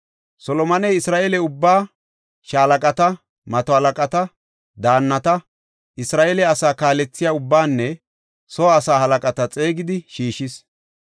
Solomoney Isra7eele ubbaa, shaalaqata, mato halaqata, daannata, Isra7eele asaa kaalethiya ubbaanne soo asaa halaqata xeegidi shiishis.